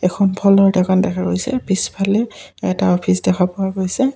এখন ফলৰ দোকান দেখা পোৱা গৈছে পিছফালে এটা অফিচ দেখা পোৱা গৈছে।